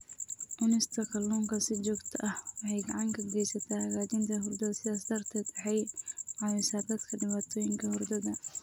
Cunista kalluunka si joogto ah waxay gacan ka geysataa hagaajinta hurdada, sidaas darteed waxay caawisaa dadka dhibaatooyinka hurdada.